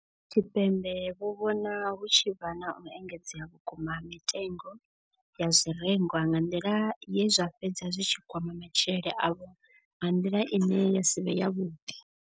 Tshipembe vho vhona hu tshi vha na u engedzea vhukuma ha mitengo ya zwirengwa nga nḓila ye zwa fhedza zwi tshi kwama matshilele avho nga nḓila ine ya si vhe yavhuḓi.